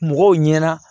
Mɔgɔw ɲɛna